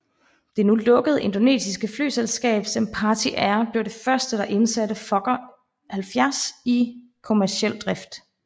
Det nu lukkede indonesiske flyselskab Sempati Air blev det første der indsatte Fokker 70 i kommerciel drift